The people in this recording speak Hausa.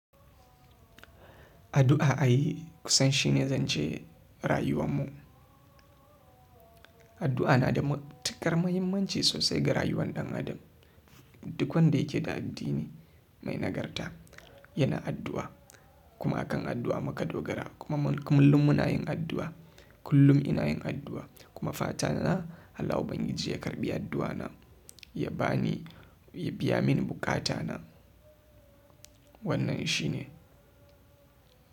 Addua ai kusan shine zance rayuwanmu, addu'a na da matukar mahinmanci sosai ga rayuwar dan adam. Duk wanda yake da addini mai nagarta yana addu'a. Kuma akan addu'a muka dogara kuma kullum muna yin addu'a. Kullum ina yin addu'a kuma fata na Allah Ubangiji ya karɓi addu'a na ya ba ni, ya biya mini buƙata na. Wannan shi ne.